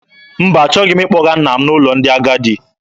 Mba, achọghị m ịkpọga nna m n'ụlọ ndị agadi.